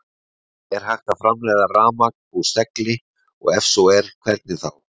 Er hægt að framleiða rafmagn úr segli og ef svo er þá hvernig?